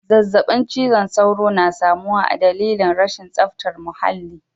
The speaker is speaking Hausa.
Zazzabin cizon sauro na samuwa adalili rashin zaftar muhalli.